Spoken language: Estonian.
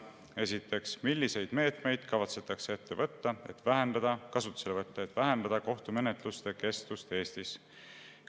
Esiteks, milliseid meetmeid kavatsetakse kasutusele võtta, et vähendada kohtumenetluste kestvust Eestis?